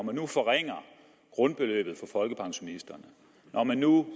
man nu forringer grundbeløbet for folkepensionisterne når man nu